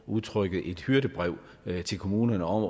udtrykket et hyrdebrev til kommunerne om